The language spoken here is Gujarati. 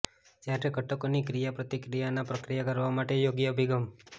જ્યારે ઘટકોની ક્રિયાપ્રતિક્રિયા ના પ્રક્રિયા કરવા માટે યોગ્ય અભિગમ